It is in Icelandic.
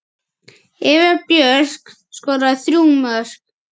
Eva Björk skoraði þrjú mörk.